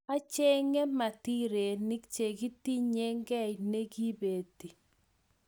Achekei matirenik cheketinyei kiy nekibeti